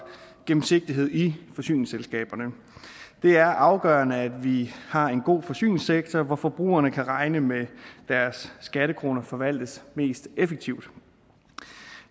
gennemsigtighed i forsyningsselskaberne det er afgørende at vi har en god forsyningssektor hvor forbrugerne kan regne med at deres skattekroner forvaltes mest effektivt